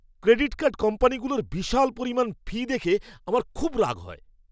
Credit card কোম্পানিগুলোর বিশাল পরিমাণ ফি দেখে আমার খুব রাগ হয়।